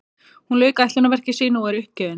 Hún lauk ætlunarverki sínu og er uppgefin.